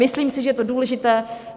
Myslím si, že je to důležité.